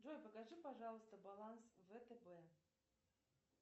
джой покажи пожалуйста баланс втб